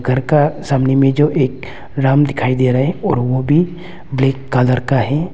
घर का सामने में जो एक राम दिखाई दे रहा है और वो भी ब्लैक कलर का है।